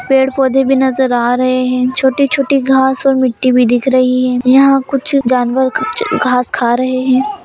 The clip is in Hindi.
पेड़-पौधे भी नज़र आ रहे हैं छोटे-छोटे घास और मिट्टी भी दिख रही हैं यहाँ कुछ जानवर कुछ घास खा रहे हैं।